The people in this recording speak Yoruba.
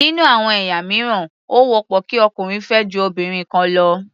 Nínú àwọn ẹ̀yà mìíràn, ó wọ́pọ̀ kí ọkùnrin fẹ́ ju obìnrin kan lọ.